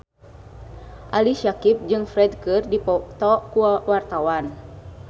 Ali Syakieb jeung Ferdge keur dipoto ku wartawan